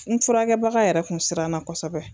N furakɛbaga yɛrɛ kun siranna kosɛbɛ